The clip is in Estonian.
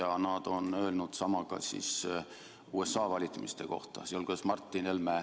Nad, sealhulgas Martin Helme, on öelnud sama ka USA valimiste kohta.